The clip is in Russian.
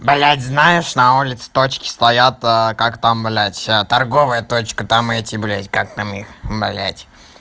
блядь знаешь на улице точки стоят как там блядь торговая точка там эти блядь как там их блядь